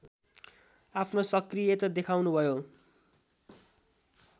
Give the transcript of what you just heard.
आफ्नो सक्रियता देखाउनुभयो